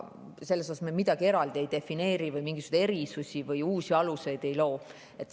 Selles mõttes me siin midagi eraldi ei defineeri või mingisuguseid erisusi ega uusi aluseid ei loo.